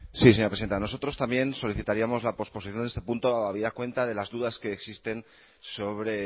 vamos a sí señora presidenta nosotros también solicitaríamos la posposición de este punto habida cuenta de las dudas que existen sobre